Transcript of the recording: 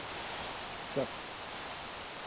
Dögg